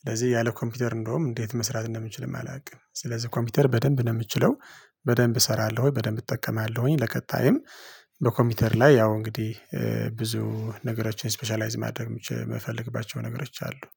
ስለዚህ ያለ ኮምፒውተር እንደውም እንዴት መስራት እንደምንችልም አላውቅም። ስለዚህ ኮምፒውተር በደንብ ነው የምችለው። በደንብ እሰራለሁ ወይ በደንብ እጠቀማለሁኝ ለቀጣይም በኮምፒውተር ላይ ያው እንግዲህ ብዙ ነገሮችን ስፔሻላይዝ ማድረግ የምፈልግባቸው ነገሮች አሉ